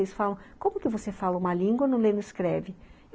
Eles falam, como que você fala uma língua e não lê, não escreve?